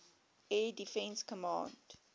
air defense command